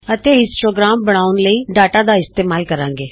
ਅਤੇ ਹਿਸਟੋਗ੍ਰਾਮ ਬਣਾਉਣ ਲਈ ਡਾਟਾ ਦਾ ਇਸਤੇਮਾਲ ਕਰਾਂਗੇ